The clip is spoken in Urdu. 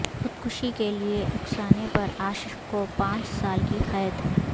خودکشی کےلئے اکسانے پر عاشق کو پانچ سال کی قید